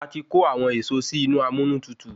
A ti kò awọn èso si inú amúnútutù